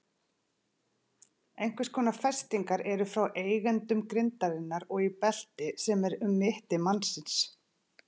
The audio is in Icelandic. Einhvers konar festingar eru frá endum grindarinnar og í belti sem er um mitti mannsins.